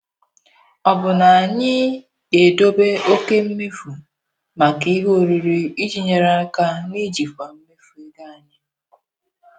Ọ̀ bụ na anyị ga-edobe oke mmefu maka ihe oriri iji nyere aka n'ijikwa mmefu ego anyị?